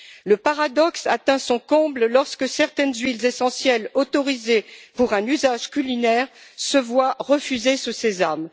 Le paradoxe atteint son comble lorsque certaines huiles essentielles autorisées pour un usage culinaire se voient refuser ce sésame.